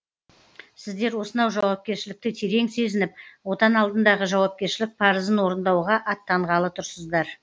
сіздер осынау жауапкершілікті терең сезініп отан алдындағы жауапкершілік парызын орындауға аттанғалы тұрсыздар